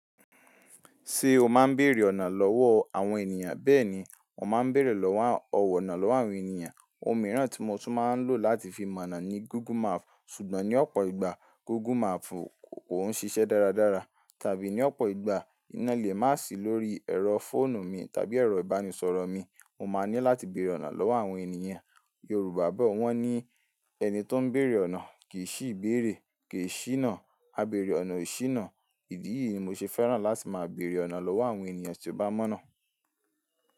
Ṣé o máa ń bèrè ọ̀nà lọ́wọ́ àwọn ènìyàn? Bẹ́ẹ̀ ni, mo máa ń bèrè ọ̀nà lọ́wọ́ àwọn ènìyàn. Ohun mìíràn tí mo tún máa ń lò láti fi mọ̀ ọ̀nà ni Google Map. Ṣùgbọ́n ní ọ̀pọ̀ ìgbà Google Map kò ń ṣiṣẹ́ dáradára. Tàbí ní ọ̀pọ̀ ìgbà iná ilẹ̀ má sì lórí ẹ̀rọ fóònù mi tàbí ẹ̀rọ ìbánisọ̀rọ̀ mi. Mo máa ní láti bèrè ọ̀nà lọ́wọ́ àwọn ènìyàn. Yorùbá bọ̀ wọ́n ní "Ẹni tó ń bèrè ọ̀nà kì í sì ìbéèrè, kì í ṣìná. Á bèrè ọ̀nà, e ṣìná." Ìdí yìí ni mo ṣe fẹ́ràn láti máa bèrè ọ̀nà lọ́wọ́ àwọn ènìyàn tí ó bá mọ́ ná.